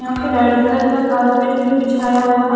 यहा पे red colour का कारपेट भी बिछाया हुआ है।